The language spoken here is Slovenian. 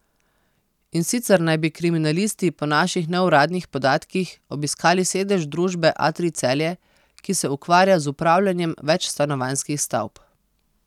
In sicer naj bi kriminalisti po naših neuradnih podatkih obiskali sedež družbe Atrij Celje, ki se ukvarja z upravljanjem večstanovanjskih stavb.